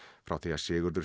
frá því að Sigurður